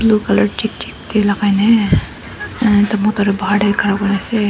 blue color tey lagai ne uh bahar tey khara kuri ase.